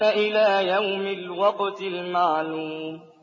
إِلَىٰ يَوْمِ الْوَقْتِ الْمَعْلُومِ